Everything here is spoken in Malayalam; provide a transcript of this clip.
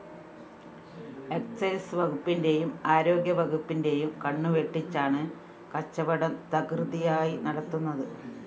എക്സൈസ്‌ വകുപ്പിന്റെയും ആരോഗ്യ വകുപ്പിന്റെയും കണ്ണുവെട്ടിച്ചാണ് കച്ചവടം തകൃതിയായി നടത്തുന്നത്